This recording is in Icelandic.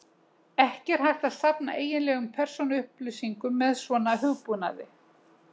Ekki er hægt að safna eiginlegum persónuupplýsingum með svona hugbúnaði.